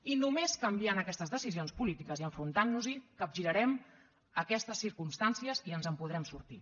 i només canviant aquestes decisions polítiques i enfrontant nos hi capgirarem aquestes circumstàncies i ens en podrem sortir